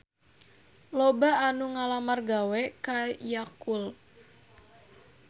Loba anu ngalamar gawe ka Yakult